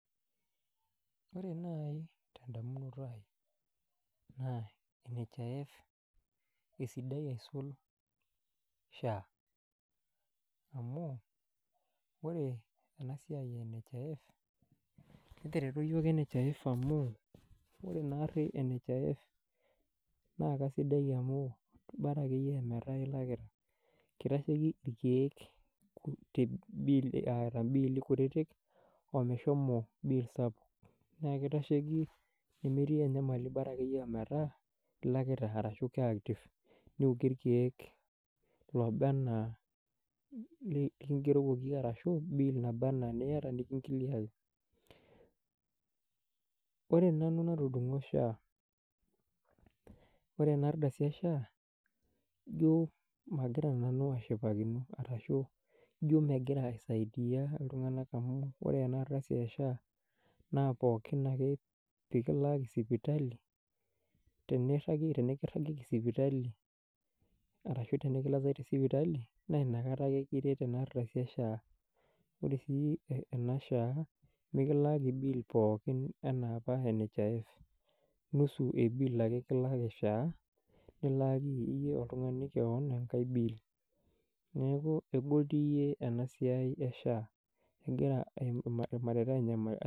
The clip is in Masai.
Ore nai tedamunoto ai naa NHIF esidai aisul [SHA]. Amu, ore ena siai eh NHIF netereto iyiok NHIF amu, ore naari NHIF naa kasidai amu, bora akeyie ametaa ilakita, kitasheki ilkeek te bill eata bill kutiti omeshomo bill sapukin. Naa kitasheki nemetii enyamali bora akeyie ometaa ilakita arashu ke active. Niokie irkeek lobaenaa likigerokoki arashu bill naba anaa eniata niki kiliaki . Ore nanu natudungo SHA ore ena ena ardasi eh SHA ijo magira nanu ashipakino arashu ijo megira aisaidia iltunganak amu ore ena ardasi eh SHA naa pookin ake pee kilaaki sipitali tenekiragieki sipitali arashu tenekilasai te sipitali naina kata ake kiretu ena ardasi eh SHA. Ore sii ena SHA mikilaaki bill pooki enaa apa NHIF nusu ake eh bill kilaaki SHA nilaaki iyie oltungani kewon ekae bill . Neaku egol dii iyie ena siai eh SHA egira irmareita anyamalu.